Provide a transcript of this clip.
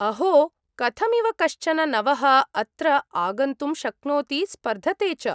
अहो, कथमिव कश्चन नवः अत्र आगन्तुं शक्नोति स्पर्धते च ?